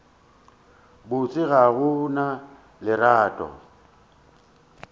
botse ga go na lerato